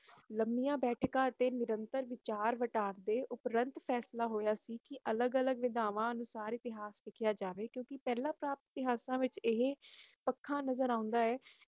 ਲੰਮੀਆਂ ਬੈਠਕਾਂ ਅਤੇ ਨਿਰੰਤਰ ਵਿਚਾਰ-ਵਟਾਂਦਰੇ ਉਪਰੰਤ ਫੈਸਲਾ ਹੋਇਆ ਸੀ ਕਿ ਅਲਗ ਅਲਗ ਵਿਦਵਾਨ ਲਿਖਾਰੀ ਸ੍ਰ